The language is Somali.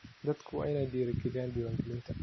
Dadku waa inay dhiirigeliyaan diiwaangelinta.